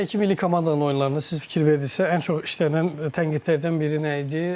Bundan əvvəlki milli komandanın oyunlarında siz fikir verdinizsə, ən çox işlənilən tənqidlərdən biri nə idi?